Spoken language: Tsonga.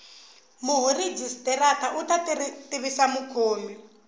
murhijisitara u ta tivisa mukhomi